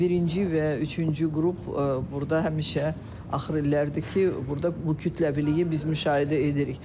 Birinci və üçüncü qrup burda həmişə axır illərdir ki, burda bu kütləviliyi biz müşahidə edirik.